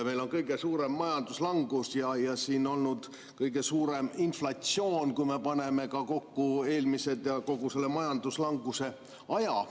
Meil on kõige suurem majanduslangus ja on olnud kõige suurem inflatsioon, kui me paneme kokku eelmiste ja kogu selle majanduslanguse aja.